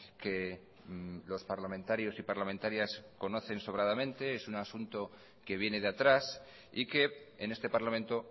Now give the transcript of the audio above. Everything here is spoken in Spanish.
que los parlamentarios y parlamentarias conocen sobradamente es un asunto que viene de atrás y que en este parlamento